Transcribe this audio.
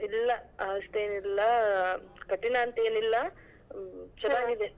ಇಲ್ಲ ಅಷ್ಟೇನಿಲ್ಲ ಕಠಿಣ ಅಂತೇನಿಲ್ಲ .